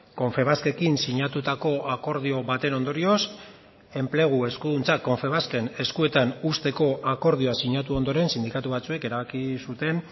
confebaskekin sinatutako akordio baten ondorioz enplegu eskuduntzak confebasken eskuetan usteko akordioa sinatu ondoren sindikatu batzuek erabaki zuten